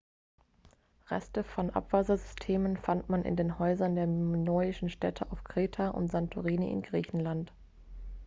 reste von abwassersystemen fand man in den häusern der minoischen städte auf kreta und santorini in griechenland